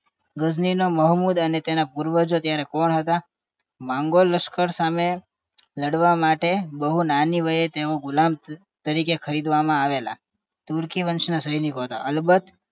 ગજની મોહમ્મદ અને તેના પૂર્વજો ત્યારે કોણ હતા માગોલ લશ્કર સામે લડવા માટે બહુ નાની વયે તેઓ ગુલમ તરીકે ખરીદવામાં આવેલા તુર્કી વર્ષના સૈનિકો હતા અલબ